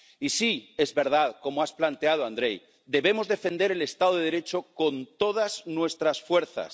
Y sí, es verdad ―como has planteado Andrej―, debemos defender el Estado de Derecho con todas nuestras fuerzas.